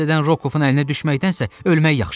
Təzədən Rokovun əlinə düşməkdənsə ölmək yaxşıdır.